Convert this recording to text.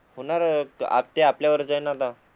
होणार आपल्या वरच जाईन आता